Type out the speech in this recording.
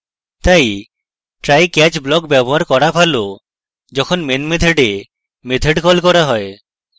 তাই try catch block ব্যবহার করা ভালো যখন main method a method catch করা হয়